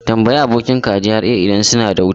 Tambayi abokinka a GRA idan suna da wuta!